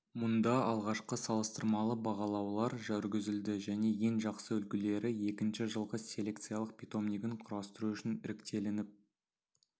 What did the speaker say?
мұнда алғашқы салыстырмалы бағалаулар жүргізілді және ең жақсы үлгілері екінші жылғы селекциялық питомнигін құрастыру үшін іріктелініп